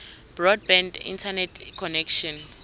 broadband internet connection